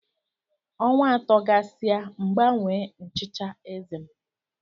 Ọnwa atọ gasịa M gbanwee nchicha eze m.